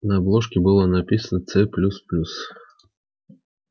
на обложке было написано ц плюс плюс